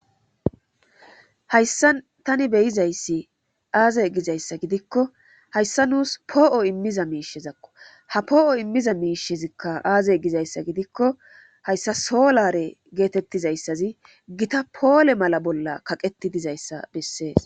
Hayssa tani beyizayssi aazey gizayssa gidikko hayssa nuus poo7o immiza miishezakko ha poo7o immiza miishezikka aaze gizayssa gidikko hayssa solare geetettizayssazi gita poole mala bolla kaqeti dizayssa bessees.